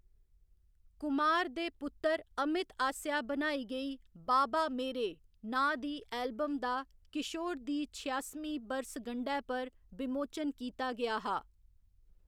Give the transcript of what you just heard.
कुमार दे पुत्तर अमित आसेआ बनाई गेई बाबा मेरे नांऽ दी एल्बम दा किशोर दी छेआसमीं बरसगंढै पर विमोचन कीता गेआ हा।